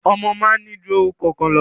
Ọmọ máa ń ní ju orúkọ kan lọ.